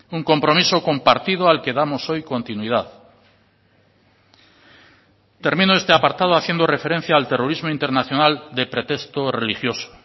un compromiso compartido al que damos hoy continuidad termino este apartado haciendo referencia al terrorismo internacional de pretexto religioso